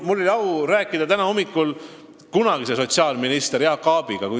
Mul oli au rääkida täna hommikul kunagise sotsiaalministri Jaak Aabiga.